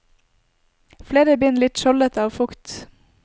Flere bind litt skjoldete av fukt.